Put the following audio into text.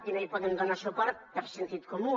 i no hi podem donar suport per sentit comú